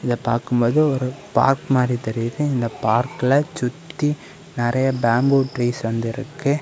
இத பாக்கும்போது ஒரு பார்க்க மாரி தெரியுது. இந்த பார்க்கில சுத்தி நிறைய பேம்போ ட்ரீஸ் வந்து இருக்கு.